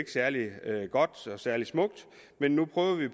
særlig godt eller særlig smukt men nu prøver vi